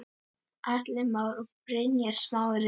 Atli Már og Brynjar Smári.